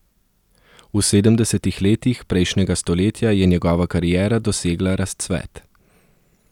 V sedemdesetih letih prejšnjega stoletja je njegova kariera dosegla razcvet.